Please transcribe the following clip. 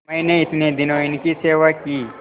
मैंने इतने दिनों इनकी सेवा की